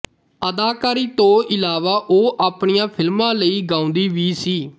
ਅਦਾਕਾਰੀ ਤੋਂ ਇਲਾਵਾ ਉਹ ਆਪਣੀਆਂ ਫਿਲਮਾਂ ਲਈ ਗਾਉਂਦੀ ਵੀ ਸੀ